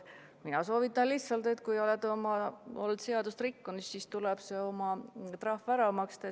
Mina soovitan lihtsalt, et kui olete seadust rikkunud, siis tuleb oma trahv ära maksta.